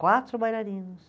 Quatro bailarinos.